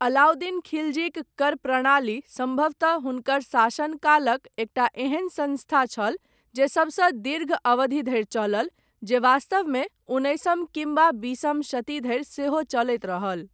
अलाउद्दीन खिलजीक कर प्रणाली, सम्भवतः हुनकर शासनकालक, एकटा एहन सङ्स्था छल, जे सबसँ दीर्घ अवधि धरि चलल, जे वास्तवमे उन्नैसम किम्बा बीसम शती धरि सेहो चलैत रहल।